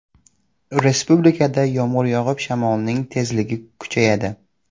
Respublikada yomg‘ir yog‘ib, shamolning tezligi kuchayadi.